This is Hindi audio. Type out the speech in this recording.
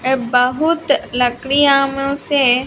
ये बहुत लकड़ियाँ मे से--